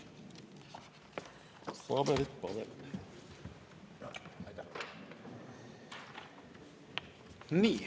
Aitäh!